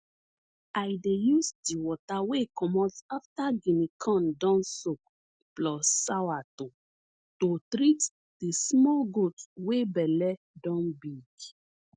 i dey use di water wey comot afta guinea corn don soak plus sourto to treat di small goat wey belle don big